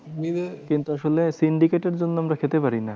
কিন্তু আসলে syndicate এর জন্য আমরা খেতে পারি না।